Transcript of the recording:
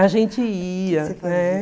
A gente ia, né?